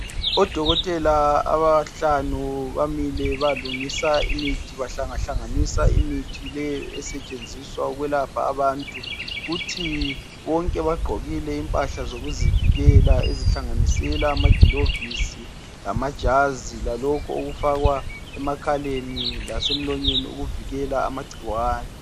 Odokotela abahlanu bamile balungisa imithi. Bahlangahlanganisa imithi leyo esetshenziswa ukwelapha abantu. Kuthi bonke bagqokile impahla zokuzivikela ezihlanganisela amagilovisi lamajazi lalokhu okufakwa emakhaleni lasemlonyeni okuvikela amangciwane.